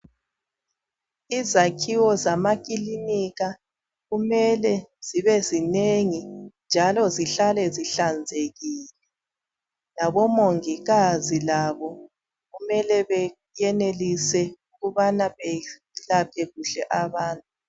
Izakhiwo zamakilinika kumele zibe zinengi njalo zihlale zihlanzekile. Labomongikazi labo kumele beyenelise ukubana behlabe kuhle abantu.